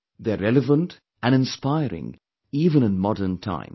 They are relevant & inspiring even in modern times